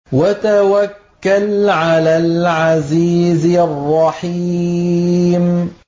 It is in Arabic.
وَتَوَكَّلْ عَلَى الْعَزِيزِ الرَّحِيمِ